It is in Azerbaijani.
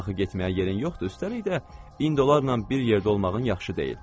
Axı getməyə yerin yoxdur, üstəlik də indi onlarla bir yerdə olmağın yaxşı deyil.